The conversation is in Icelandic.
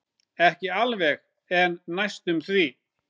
Ekki alveg en næstum því.